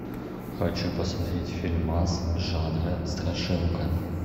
хочу посмотреть фильмас жанра страшилка